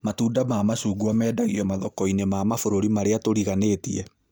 Matunda ma macungwa mendagio mathoko-inĩ ma mabũrũri marĩa tũriganĩtie